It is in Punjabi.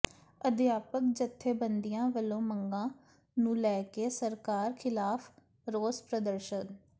ਅਧਿਆਪਕ ਜਥੇਬੰਦੀਆਂ ਵਲੋਂ ਮੰਗਾਂ ਨੂੰ ਲੈ ਕੇ ਸਰਕਾਰ ਿਖ਼ਲਾਫ਼ ਰੋਸ ਪ੍ਰਦਰਸ਼ਨ